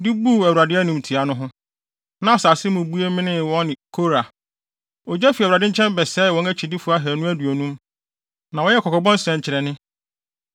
Na asase mu bue menee wɔne Kora. Ogya fi Awurade nkyɛn bɛsɛee wɔn akyidifo ahannu aduonum. Na wɔyɛɛ kɔkɔbɔ nsɛnkyerɛnne.